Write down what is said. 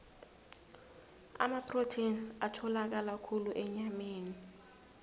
amaprotheni atholakala khulu enyameni